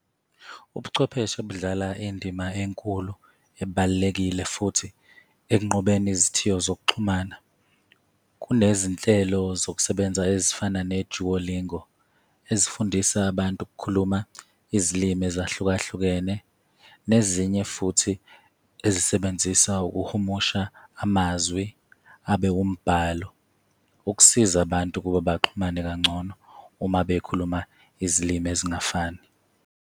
Ubuchwepheshe budlala indima enkulu ebalulekile futhi ekunqobeni izithiyo zokuxhumana. Kunezinhlelo zokusebenza ezifana ne-Duolingo ezifundisa abantu ukukhuluma izilimi ezahlukahlukene, nezinye futhi ezisebenzisa ukuhumusha amazwi abe wumbhalo ukusiza abantu ukuba baxhumane kangcono uma bekhuluma izilimi ezingafani.